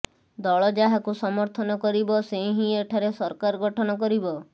ଦଳ ଯାହାକୁ ସମର୍ଥନ କରିବ ସେ ହିଁ ଏଠାରେ ସରକାର ଗଠନ କରିବ